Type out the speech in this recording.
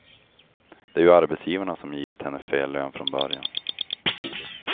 Det är ju arbetsgivarna som givit henne fel lön från början.